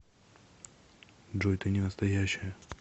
джой ты ненастоящая